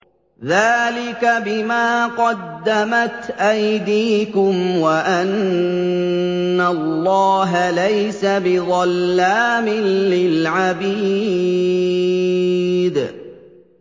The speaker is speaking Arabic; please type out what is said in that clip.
ذَٰلِكَ بِمَا قَدَّمَتْ أَيْدِيكُمْ وَأَنَّ اللَّهَ لَيْسَ بِظَلَّامٍ لِّلْعَبِيدِ